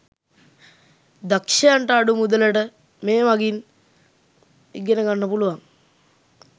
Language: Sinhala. දක්ෂයන්ට අඩු මුදලට මේ මගින් ඉගෙන ගන්න පුලුවන්